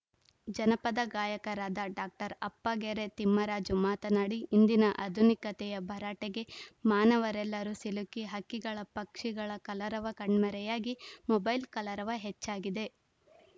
ಜನಪದ ಗಾಯಕರಾದ ಡಾಕ್ಟರ್ ಅಪ್ಪಗೆರೆ ತಿಮ್ಮರಾಜು ಮಾತನಾಡಿ ಇಂದಿನ ಆಧುನಿಕತೆಯ ಭರಾಟೆಗೆ ಮಾನವರೆಲ್ಲರೂ ಸಿಲುಕಿ ಹಕ್ಕಿಗಳ ಪಕ್ಷಿಗಳ ಕಲರವ ಕಣ್ಮರೆಯಾಗಿ ಮೊಬೈಲ್‌ ಕಲರವ ಹೆಚ್ಚಾಗಿದೆ